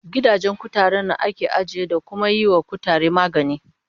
Gidajen kutare nan ake ajiye, da kuma yiwa kutare magani